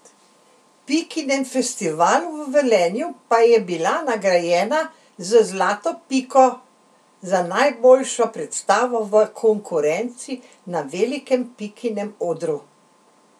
Pikinem festivalu v Velenju pa je bila nagrajena z zlato piko za najboljšo predstavo v konkurenci na velikem Pikinem odru.